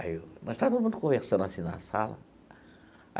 Aí eu, nós estávamos conversando assim na sala.